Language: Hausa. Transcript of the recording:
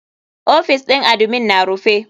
OFIs ɗin admin na rufe.